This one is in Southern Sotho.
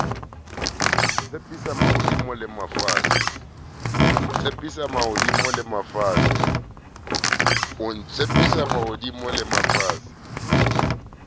o ntshepisa mahodimo le mafatshe